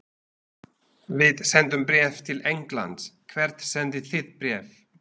Við sendum bréf til Englands. Hvert sendið þið bréf?